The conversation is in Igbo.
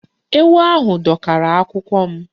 Ewu ahụ dọkara akwụkwọ m.